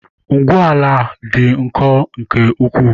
Ngwu ala dị nkọ nke ukwuu.